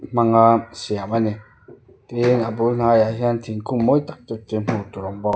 hmanga siam ani tin a bul hnaiah hian thingkung mawi tak tak te hmuh tur a awm bawk.